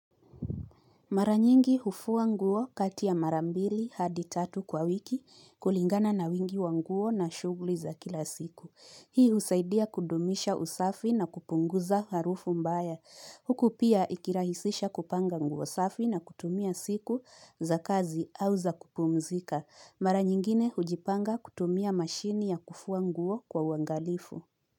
Maranyingi hufua nguo katia marambili hadi tatu kwa wiki kulingana na wingi wa nguo na shugulii za kila siku. Hii usaidia kudomisha usafi na kupunguza harufu mbaya. Huku pia ikirahisisha kupanga nguo safi na kutumia siku za kazi au za kupumzika. Maranyingine hujipanga kutumia mashini ya kufua nguo kwa wangalifu.